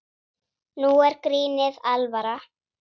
Nú er grínið alvara.